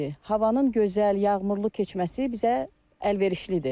Havanın gözəl, yağmurlu keçməsi bizə əlverişlidir.